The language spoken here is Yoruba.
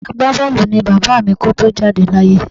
Agbábọ́ọ̀lù ni bàbá mi kó tó jáde láyé